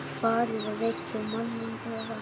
Farið og vekið manninn yðar.